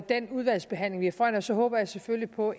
den udvalgsbehandling foran os håber jeg selvfølgelig på